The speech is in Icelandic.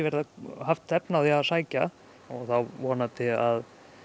haft efni á að sækja þá vonandi að